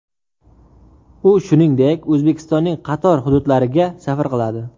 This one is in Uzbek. U shuningdek O‘zbekistonning qator hududlariga safar qiladi.